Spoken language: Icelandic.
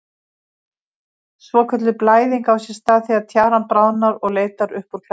Svokölluð blæðing á sér stað þegar tjaran bráðnar og leitar upp úr klæðingunni.